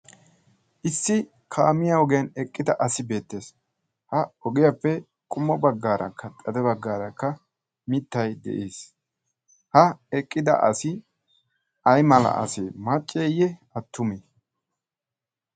issi kaamiya ogiyan eqqida asi beettees ha ogiyaappe qummo baggaarakka xade baggaarakka mittai de'ees ha eqqida asi ay mala asi macceeyye attumi